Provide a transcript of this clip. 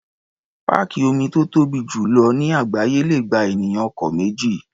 Páàkì omi tó tóbi jù lọ ní àgbááyé le gba ènìyàn ọ̀kẹ́ méjì.